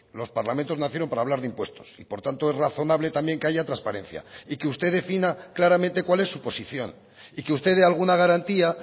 los parlamentos nacieron para hablar de impuestos y por tanto es razonable también que haya transparencia y que usted defina claramente cuál es su posición y que usted dé alguna garantía